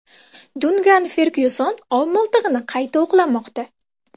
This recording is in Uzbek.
Dunkan Fergyuson ov miltig‘ini qayta o‘qlamoqda.